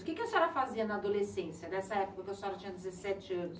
O que a senhora fazia na adolescência, nessa época que a senhora tinha dezessete anos?